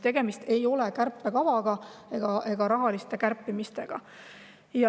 Tegemist ei ole kärpekavaga ega rahalise kärpimisega.